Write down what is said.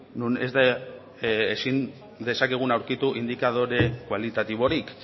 non ezin dezakegun aurkitu indikadore kualitatiborik